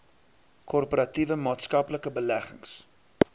korporatiewe maatskaplike beleggings